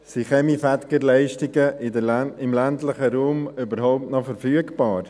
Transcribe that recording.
Sind Kaminfegerleistungen im ländlichen Raum überhaupt noch verfügbar?